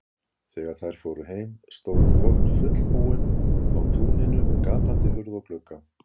Þegar þær fóru heim stóð kofinn fullbúinn á túninu með gapandi hurð og glugga.